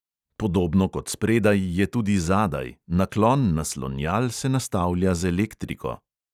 Podobno kot spredaj je tudi zadaj, naklon naslonjal se nastavlja z elektriko.